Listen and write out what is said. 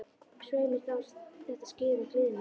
Svei mér þá, þetta skyggði á gleði mína.